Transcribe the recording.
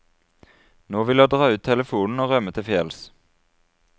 Nå vil jeg dra ut telefonen og rømme til fjells.